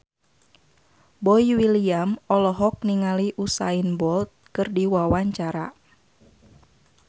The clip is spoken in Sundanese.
Boy William olohok ningali Usain Bolt keur diwawancara